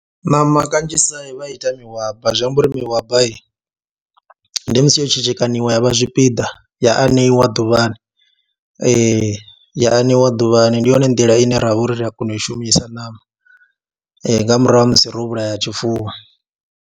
Ṋama kanzhisa vha ita mihwaba zwi amba uri mihabai ndi musi yo tshekekanyiwa vha zwipiḓa ya aneiwa ḓuvhani, ya aneiwa ḓuvhani, ndi yone nḓila ine ra vha uri ri a kona u i shumisa ṋama nga murahu ha musi ro vhulaya tshifuwo.